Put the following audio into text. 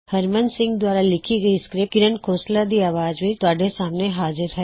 ਇਸ ਟਯੂਟੋਰਿਅਲ ਦਾ ਯੋਗਦਾਨ ਹਰਮਨ ਸਿੰਘ ਨੇਂ ਕੀਤਾ